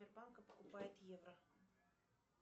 сбербанка покупает евро